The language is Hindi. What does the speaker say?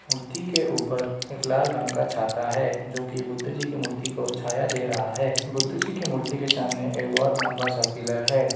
मूर्ति के ऊपर एक लाल रंग का छाता है जो कि बुद्ध जी की मूर्ति को छाया दे रहा है बुद्ध जी की मूर्ति के सामने एक बहुत लंबा सा पिलर है।